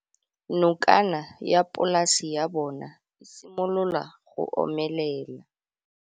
Nokana ya polase ya bona, e simolola go omelela.